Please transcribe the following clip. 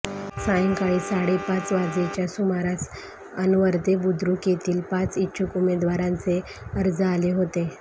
सायंकाळी साडेपाच वाजेच्या सुमारास अनवर्दे बुद्रुक येथील पाच इच्छुक उमेदवारांचे अर्ज आले होते